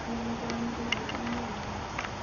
Nĩ mũthomithirio ũmũthĩ?